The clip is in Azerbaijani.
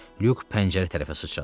Lük pəncərə tərəfə sıçradı.